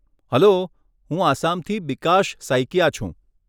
Hello, હું આસામથી બીકાશ સૈકીયા છું.